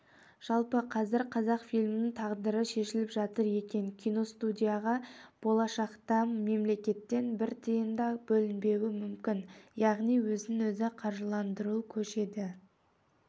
жалпы қазір қазақфильмнің тағдыры шешіліп жатыр екен киностудияға болашақта мемлекеттен бір тиын да бөлінбеуі мүмкін яғни өзін өзі қаржыландыруға көшеді